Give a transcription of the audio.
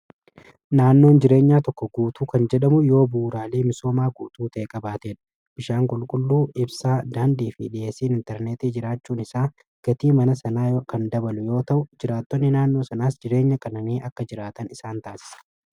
naannoon jireenya tokko guutuu kan jedhamu yoo buuraalee misoomaa guutuu ta,e qabaateedha bishaan qulqulluu ibsaa daandii fi dhiheessiin intarneetii jiraachuun isaa gatii mana sanaa kan dabalu yoo ta'u jiraattonni naannoo sanaas jireenya qananii akka jiraatan isaan taasisa.